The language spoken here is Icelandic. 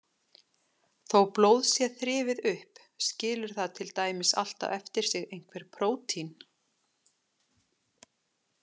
Þó blóð sé þrifið upp skilur það til dæmis alltaf eftir sig einhver prótín.